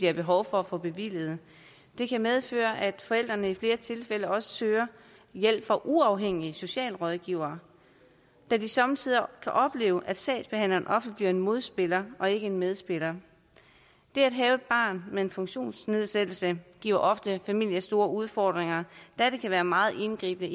har behov for at få bevilget det kan medføre at forældrene i flere tilfælde også søger hjælp fra uafhængige socialrådgivere da de somme tider kan opleve at sagsbehandleren bliver en modspiller og ikke en medspiller det at have et barn med en funktionsnedsættelse giver ofte en familie store udfordringer da det kan være meget indviklet